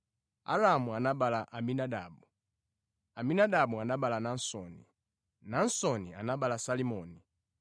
Aramu anabereka Aminadabu, Aminadabu anabereka Naasoni, Naasoni anabereka Salimoni.